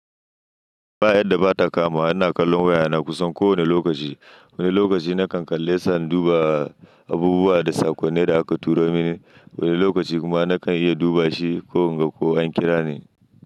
Ba yarda ba ta kamawa ina kallon waya na kusan kowane lokaci. Wani lokaci na kan kalle suna duba abubuwa da sakonni da aka turo mani. Wani lokaci kuma na kan iya duba shi ko in ga ko an kira ni.